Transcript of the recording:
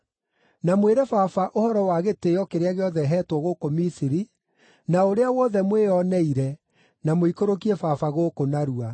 Na mwĩre baba ũhoro wa gĩtĩĩo kĩrĩa gĩothe heetwo gũkũ Misiri, na ũrĩa wothe mwĩoneire, na mũikũrũkie baba gũkũ narua.”